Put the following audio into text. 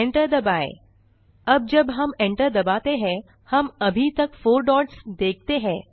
enter दबाएँ अब जब हम enter दबाते हैं हम अभी तक फोर डॉट्स देखते हैं